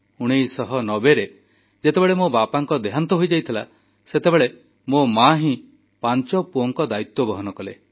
1990ରେ ଯେତେବେଳେ ମୋ ବାପାଙ୍କ ଦେହାନ୍ତ ହେଲା ସେତେବେଳେ ମୋ ମା ହିଁ ପାଞ୍ଚ ପୁଅଙ୍କ ଦାୟିତ୍ୱ ବହନ କଲେ